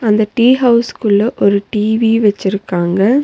அந்த டீ ஹவுஸ்க்குள்ள ஒரு டி_வி வச்சிருக்காங்க.